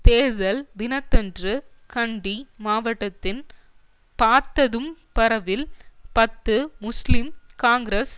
தேர்தல் தினத்தன்று கண்டி மாவட்டத்தின் பார்த்ததும்பறவில் பத்து முஸ்லீம் காங்கிரஸ்